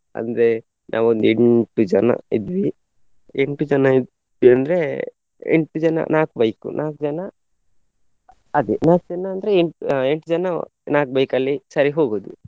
ಅಂದ್ರೆ ನಾವು ಒಂದು ಎಂಟು ಜನ ಇದ್ವಿ. ಎಂಟು ಜನ ಅಂದ್ರೆ ಎಂಟು ಜನ ನಾಲ್ಕು bike ನಾಲ್ಕು ಜನ ಅದೇ ಮತ್ತೇನಂದ್ರೆ ಎಂಟ್~ ಆ ಎಂಟು ಜನ ನಾಲ್ಕು bike ಅಲ್ಲಿ ಸರಿ ಹೋಗುದು.